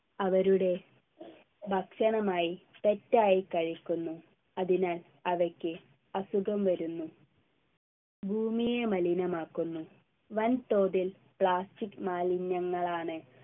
അവരുടെ ഭക്ഷണമായി തെറ്റായി കഴിക്കുന്നു അതിനാൽ അവയ്ക്ക് അസുഖം വരുന്നു ഭൂമിയെ മലിനമാക്കുന്നു വൻതോതിൽ plastic മാലിന്യങ്ങളാണ്